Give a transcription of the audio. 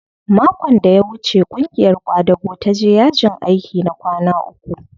Makon da ya wuce ƙungiyar ƙwadago ta je yajin aiki na kwana uku